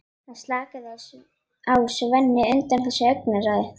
Það slaknaði á Sveini undan þessu augnaráði.